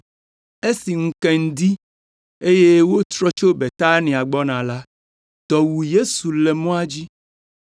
Esi ŋu ke ŋdi, eye wotrɔ tso Betania gbɔna la, dɔ wu Yesu le mɔa dzi.